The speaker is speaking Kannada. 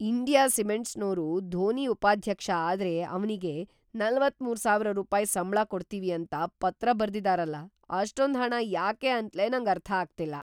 ಇಂಡಿಯಾ ಸಿಮೆಂಟ್ಸ್‌ನೋರು ಧೋನಿ ಉಪಾಧ್ಯಕ್ಷ ಆದ್ರೆ ‌ಅವ್ನಿಗೆ ೪೩,೦೦೦ ರೂಪಾಯ್ ಸಂಬ್ಳ ಕೊಡ್ತೀವಿ ಅಂತ ಪತ್ರ ಬರ್ದಿದಾರಲ, ಅಷ್ಟೊಂದ್‌ ಹಣ ಯಾಕೆ ಅಂತ್ಲೇ ನಂಗರ್ಥ ಆಗ್ತಿಲ್ಲ.